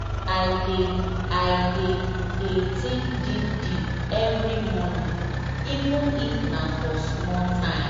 i dey i dey dey think deep deep every morning even if nah for small time.